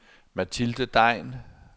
Mathilde Degn